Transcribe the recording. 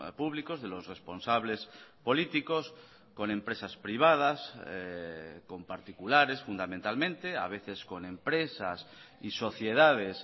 públicos de los responsables políticos con empresas privadas con particulares fundamentalmente a veces con empresas y sociedades